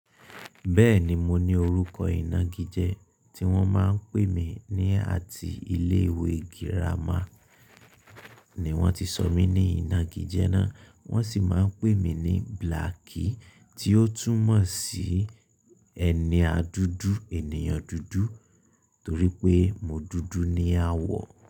Bẹ́ẹ̀ni mo ní orúkọ ìnagijẹ́ tí wọ́n máa ń pè mí ní àti ilé ìwé girama ni wọ́n ti sọ mí ní ìnagijẹ́ náà. Wọ́n sì máa ń pè mí ní Blacky tí ó túmọ̀ sí ẹni dúdú ènìyàn dúdú torí pé mo dúdú ní àwọ̀